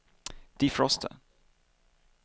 defroster